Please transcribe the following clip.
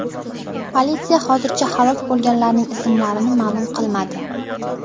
Politsiya hozircha halok bo‘lganlarning ismlarini ma’lum qilmadi.